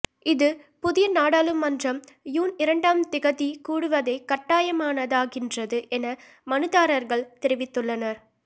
இது புதிய நாடாளுமன்றம் யூன் இரண்டாம் திகதி கூடுவதை கட்டாயமானதாக்கின்றது என மனுதாரர்கள் தெரிவித்துள்ளனர்